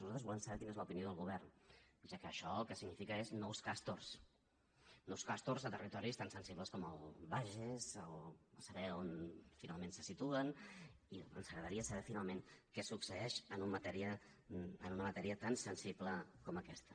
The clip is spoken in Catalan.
nosaltres volem saber quina és l’opinió del govern ja que això el que significa són nous castor nous castor a territoris tan sensibles com el bages o a saber on finalment se situen i ens agradaria saber finalment què succeeix en una matèria tan sensible com aquesta